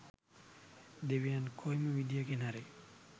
දෙවියන් කොයිම විදිහකින් හරි